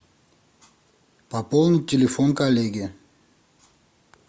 пополнить телефон коллеги